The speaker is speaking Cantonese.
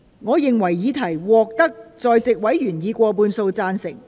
我認為議題獲得在席委員以過半數贊成。